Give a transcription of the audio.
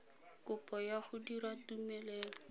kopo ya go dira tumelelo